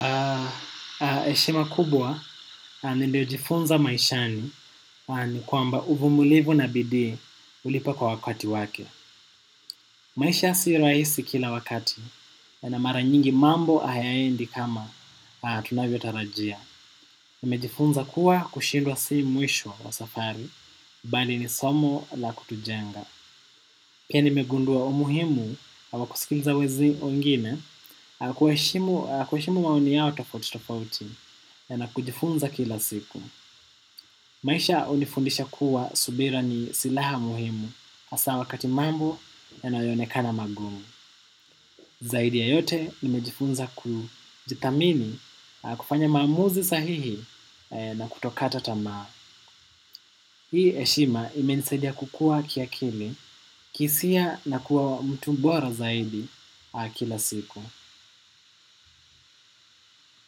Eshima kubwa nilijifunza maishani kwamba uvumilivu na bidii ulipa kwa wakati wake. Maisha si raisi kila wakati na mara nyingi mambo hayaendi kama tunavyo tarajia. Nimejifunza kuwa kushindwa si mwisho wa safari, bali ni somo la kutujenga. Pia nimegundua umuhimu wa kusikiliza wezi wengine kuheshimu maoni yao tofauti tofauti na kujifunza kila siku. Maisha unifundisha kuwa subira ni silaha muhimu hasa wakati mambo yanayo onekana magumu. Zaidi ya yote nimejifunza kujithamini kufanya maamuzi sahihi na kutokata tamaa. Hii eshima imenisadia kukua kiakili kiisia na kuwa mtu bora zaidi kila siku.